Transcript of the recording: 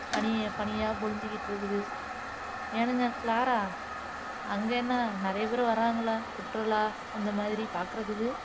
பனி பனியா பொழிஞ்சுகிட்டு இருக்குது ஏனுங்க க்ளாரா அங்க என்ன நிறைய பேரு வர்றாங்களா சுற்றுலா இந்த மாதிரி பாக்குறதுக்கு